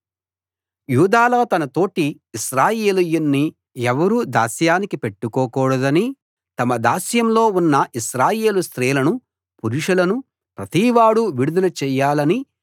యూదాలో తన తోటి ఇశ్రాయేలీయుణ్ణి ఎవరూ దాస్యానికి పెట్టుకోకూడదనీ తమ దాస్యంలో ఉన్న ఇశ్రాయేలు స్త్రీలను పురుషులను ప్రతివాడూ విడుదల చెయ్యాలనీ